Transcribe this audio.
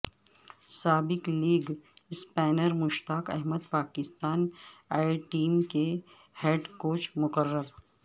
سابق leg spinner Mushtaq Ahmed Pakistan A team کے head coach مقرر